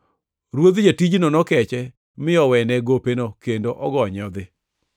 Ruodh jatijno nokeche mi owene gopeno kendo ogonye odhi.